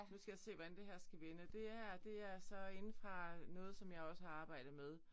Nu skal jeg se hvordan det her skal vende og det er det er så inde fra noget som jeg også har arbejdet med